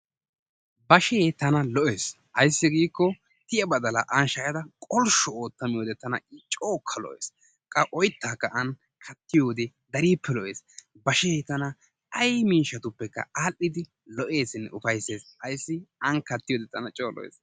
Bashsee tana lo'es ayssi giikko tiya badalla aani shaayadda qoshshu ootta miyodde tana cookka lo'es, qa oyttaka aani kattiyode darippe lo'es bashee tana ay miishshatuppekka adhdhidi lo'esinne ufaysses, ayssi aani kattiyode tana coo lo'es.